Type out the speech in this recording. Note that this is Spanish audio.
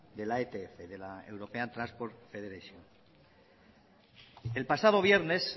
de la etf de la european transport federation el pasado viernes